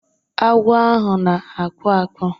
Agwọ ahụ na-akpụ akpụ.